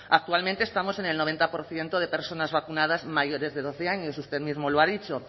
actualmente estamos en el noventa por ciento de personas vacunadas mayores de doce años usted mismo lo ha dicho